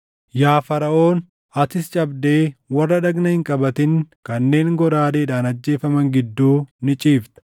“Yaa Faraʼoon, atis cabdee warra dhagna hin qabatin kanneen goraadeedhaan ajjeefaman gidduu ni ciifta.